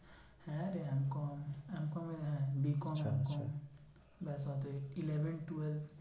হ্যাঁ রে M com এ হ্যাঁ B com, M com ব্যাস অতই eleven twelve